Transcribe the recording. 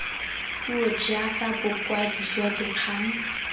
puo jaaka bokwadi jwa dikgang